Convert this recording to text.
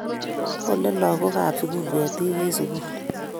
Kole lagook kab sugul ketik eng sugul